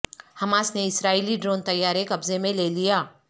Hamas نے اسرائیلی drone طیارہ قبضے میں لے لیا